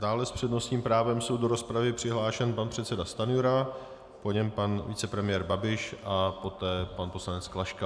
Dále s přednostním právem jsou do rozpravy přihlášeni: pan předseda Stanjura, po něm pan vicepremiér Babiš a poté pan poslanec Klaška.